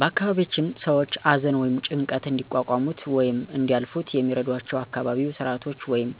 በአካባቢያችን ሰዎች አዘን ወይም ጭንቀት እንዲቋቋሙት ወይም እንዲያልፋት የሚረዷቸው አካባቢያዉ ስርአቶች ወይም